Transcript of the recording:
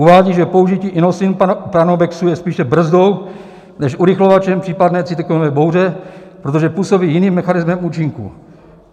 Uvádí, že použití Inosin pranobexu je spíše brzdou než urychlovačem případné cytoxinové bouře, protože působí jiným mechanismem účinku.